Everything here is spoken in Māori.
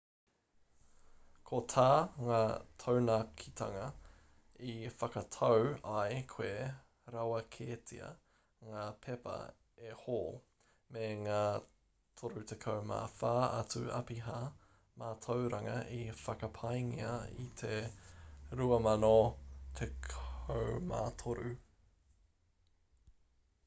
ko tā ngā taunakitanga i whakatau ai kua rāweketia ngā pepa e hall me ngā 34 atu apiha mātauranga i whakapaengia i te 2013